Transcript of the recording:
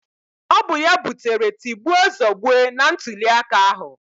Ọ bụ ya butere tigbuo zọgbuo na ntụliaka ahụ